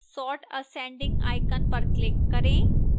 sort ascending icon पर click करें